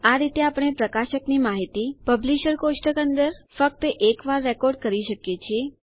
આ રીતે આપણે પ્રકાશકની માહિતી પબ્લિશર કોષ્ટક અંદર ફક્ત એક વાર રેકોર્ડ કરી શકીએ છીએ